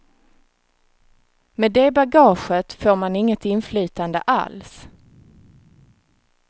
Med det bagaget får man inget inflytande alls.